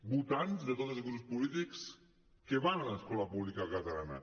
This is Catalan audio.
votants de tots els grups polítics que van a l’escola pública catalana